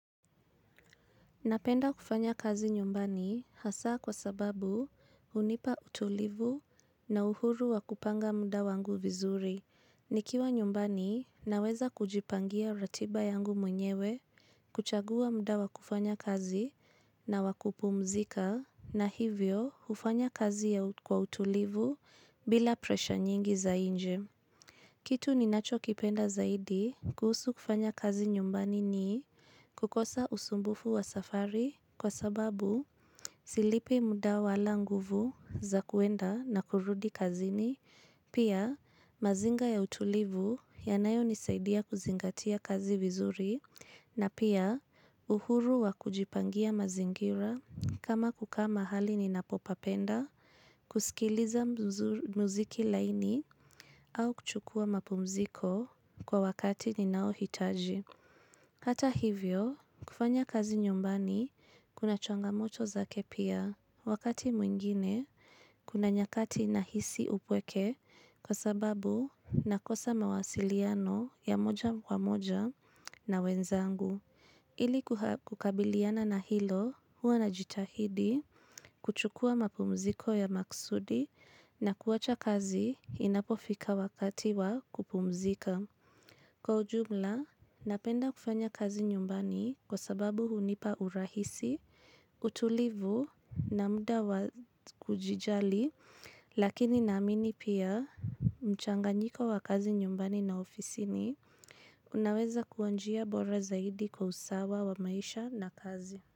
Napenda kufanya kazi nyumbani hasa kwa sababu hunipa utulivu na uhuru wa kupanga muda wangu vizuri, nikiwa nyumbani naweza kujipangia ratiba yangu mwenyewe, kuchagua muda wa kufanya kazi na wakupumzika na hivyo hufanya kazi ya kwa utulivu bila presha nyingi za inje. Kitu ni nacho kipenda zaidi kuhusu kufanya kazi nyumbani ni kukosa usumbufu wa safari kwa sababu silipi muda wala nguvu za kwenda na kurudi kazini, pia mazinga ya utulivu yanayo nisaidia kuzingatia kazi vizuri, na pia uhuru wa kujipangia mazingira kama kukaa mahali ni napopapenda, kusikiliza muziki laini Napenda kufanya kazi nyumbani hasa kwa sababu hunipa utulivu na uhuru wa kupanga muda wangu vizuri, nikiwa nyumbani naweza kujipangia ratiba yangu mwenyewe, kuchagua muda wa kufanya kazi Hata hivyo, kufanya kazi nyumbani kuna changamoto zake pia. Wakati mwingine, kuna nyakati na hisi upweke kwa sababu na kosa mawasiliano ya moja wa moja na wenzangu. Ili kukabiliana na hilo huwa na jitahidi kuchukua mapumziko ya maksudi na kuacha kazi inapofika wakati wa kupumzika. Kwa ujumla, napenda kufanya kazi nyumbani kwa sababu hunipa urahisi, utulivu na muda wa kujijali, lakini naamini pia mchanganjiko wa kazi nyumbani na ofisini inaweza kuwa njia bora zaidi kwa usawa wa maisha na kazi.